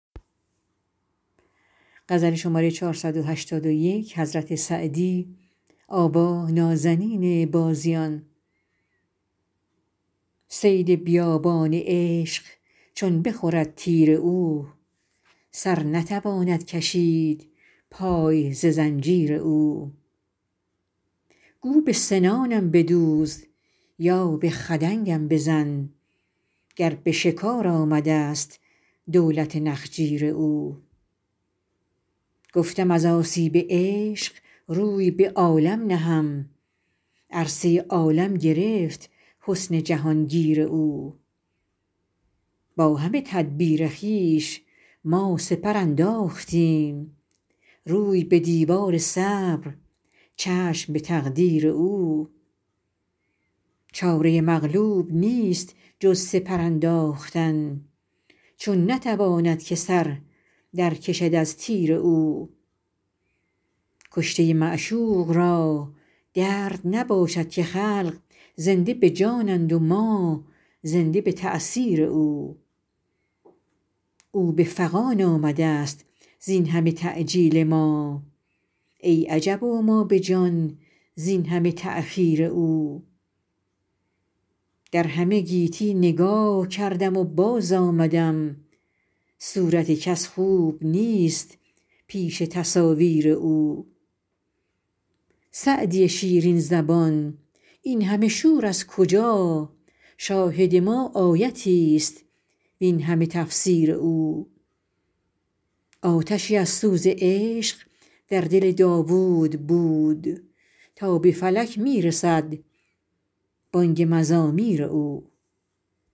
صید بیابان عشق چون بخورد تیر او سر نتواند کشید پای ز زنجیر او گو به سنانم بدوز یا به خدنگم بزن گر به شکار آمده ست دولت نخجیر او گفتم از آسیب عشق روی به عالم نهم عرصه عالم گرفت حسن جهان گیر او با همه تدبیر خویش ما سپر انداختیم روی به دیوار صبر چشم به تقدیر او چاره مغلوب نیست جز سپر انداختن چون نتواند که سر در کشد از تیر او کشته معشوق را درد نباشد که خلق زنده به جانند و ما زنده به تأثیر او او به فغان آمده ست زین همه تعجیل ما ای عجب و ما به جان زین همه تأخیر او در همه گیتی نگاه کردم و باز آمدم صورت کس خوب نیست پیش تصاویر او سعدی شیرین زبان این همه شور از کجا شاهد ما آیتی ست وین همه تفسیر او آتشی از سوز عشق در دل داوود بود تا به فلک می رسد بانگ مزامیر او